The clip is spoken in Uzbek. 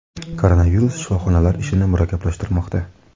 Koronavirus shifoxonalar ishini murakkablashtirmoqda.